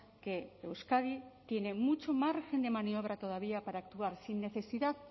que euskadi tiene mucho margen de maniobra todavía para actuar sin necesidad